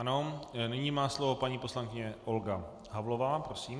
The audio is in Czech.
Ano, nyní má slovo paní poslankyně Olga Havlová, prosím.